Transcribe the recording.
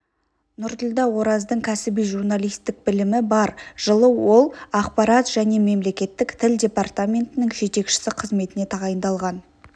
нұрділдә ораздың кәсіби журналистік білімі бар жылы ол ақпарат және мемлекеттіік тіл департаментінің жетекшісі қызметіне тағайындалған